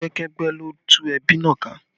Ẹgbẹ́kẹ́gbẹ́ ló tú ẹbí náà ká